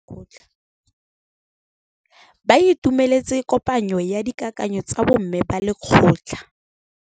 Ba itumeletse kôpanyo ya dikakanyô tsa bo mme ba lekgotla.